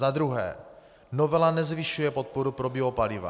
Za druhé, novela nezvyšuje podporu pro biopaliva.